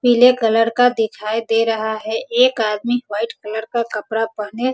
पीले कलर का दिखाई दे रहा है एक आदमी वाइट कलर का कपड़ा पेहने --